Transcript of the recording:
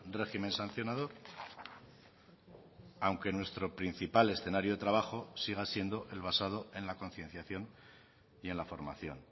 régimen sancionador aunque nuestro principal escenario de trabajo siga siendo el basado en la concienciación y en la formación